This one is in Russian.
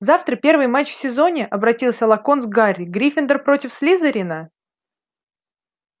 завтра первый матч в сезоне обратился локонс к гарри гриффиндор против слизерина